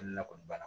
Hali n'a kɔni banna